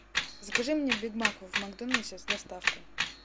закажи мне биг мак в макдональдсе с доставкой